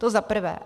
To za prvé.